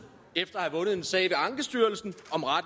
efter at have vundet en sag ved ankestyrelsen